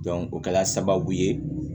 o kɛla sababu ye